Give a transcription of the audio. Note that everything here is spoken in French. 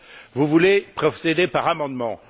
6. Vous voulez procéder par amendements.